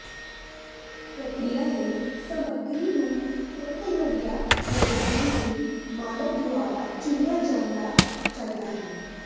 ਪ੍ਰਕਿਰਿਆ ਲਈ ਸਾਮਗਰੀ ਨੂੰ ਤੁਰੰਤ ਲੋੜੀਂਦੀ ਲੰਬਾਈ ਦੇ ਮਾਲਕ ਦੁਆਰਾ ਚੁਣਿਆ ਜਾਣਾ ਚਾਹੀਦਾ ਹੈ